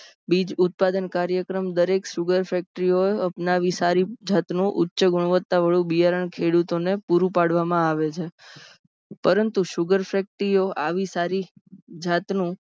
બીજ ઉત્પાદન કાર્યક્રમ દરેક sugar factory સારી જાતનો ઉચ્ચ ગુણવત્તાવાળો બિયારણ ખેડૂતોને પૂરું પાડવામાં આવે છે. પરંતુ sugar factory ઓ આવીજ સારી જાતનો